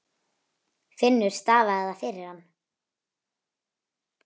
Finnur stafaði það fyrir hann.